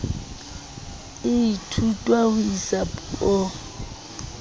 e ithutwang ho isa puong